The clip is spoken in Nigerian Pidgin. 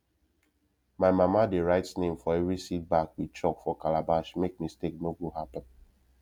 my mama dey write name for every seed bag with chalk for calabash make mistake no go happen